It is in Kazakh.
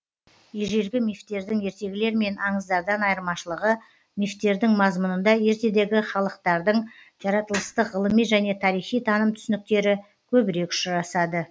ежелгі мифтердің ертегілер мен аңыздардан айырмашылығы мифтердің мазмұнында ертедегі халықтардың жаратылыстық ғылыми және тарихи таным түсініктері көбірек ұшырасады